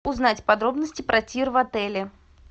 узнать подробности про тир в отеле